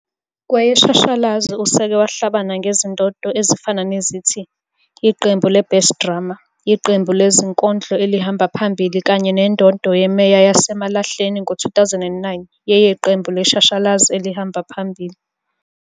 Kweyeshashalazi useke wahlabana ngezindondo ezifana nethi. Iqembu le-Best drama, iqembu lezinkondlo elihamba phambili kanye nendondo yemeya yaseMalahleni ngo-2009 yeqembu leshashalazi elihamba phambili.